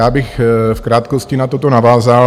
Já bych v krátkosti na toto navázal.